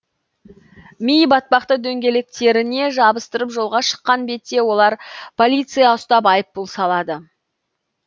ми батпақты дөңгелектеріне жабыстырып жолға шыққан бетте оларды полиция ұстап айыппұл салады